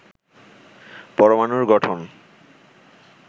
পরমানুর গঠন